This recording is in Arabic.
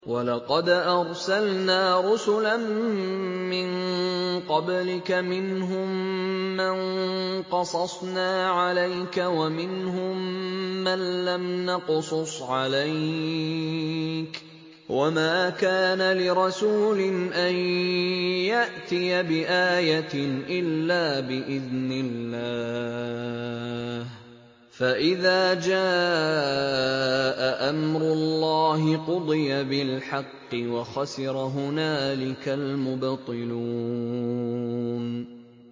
وَلَقَدْ أَرْسَلْنَا رُسُلًا مِّن قَبْلِكَ مِنْهُم مَّن قَصَصْنَا عَلَيْكَ وَمِنْهُم مَّن لَّمْ نَقْصُصْ عَلَيْكَ ۗ وَمَا كَانَ لِرَسُولٍ أَن يَأْتِيَ بِآيَةٍ إِلَّا بِإِذْنِ اللَّهِ ۚ فَإِذَا جَاءَ أَمْرُ اللَّهِ قُضِيَ بِالْحَقِّ وَخَسِرَ هُنَالِكَ الْمُبْطِلُونَ